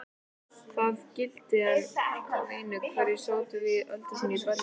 Það gilti hann einu, hverjir sátu í valdastólum í Berlín.